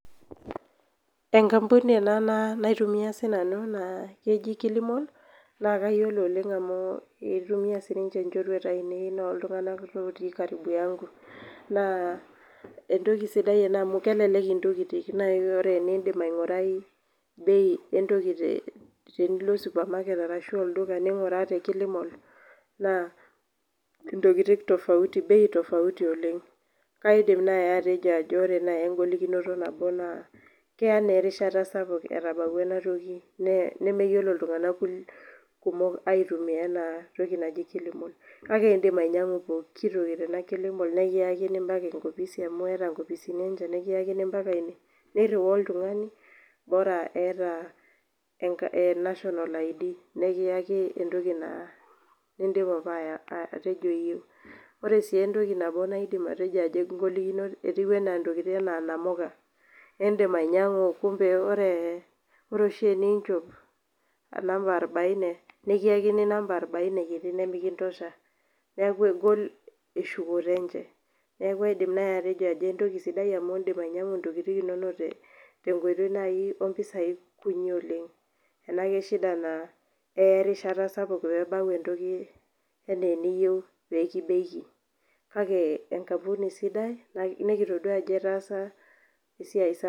Enkampuni ena naitumia siananu nakeji kilimal na kayiolo oleng amu itumia nchorueta ainei enaa ltunganak otii naa entoki sidai ena amu kelelek ntokitin indim aingirai bei entoki eniko supamaket ninguraa tekilimal naa ntokitin tofauti oleng kaidim nai atejo ore engolikino nabo na keya erishata saouk etabawua enatoki nekeyiolo ltunganak kumok aitumia entoki naji kilimal kake indik ainyangu poiki toki nikiyakini mbaka enkopisi niriwaa oltungani naa eeta national id nikiaki entoki naa nindipa apa atejo kayieu etiu anaa namuka indim ainyangu kake ore oshi pinchop namba arabaine nikiyakini namba arbaine nimikintosha neaku egol enchukoto enye neaku kaidik atejo entoki sidai amu indik ainyangu ntokitin enye tenkoitoi ompisai kutik keya erishata sapuk pebau entoki anaa kake enkampuni sidai nikitadua ajo etaasa esiaia sapuk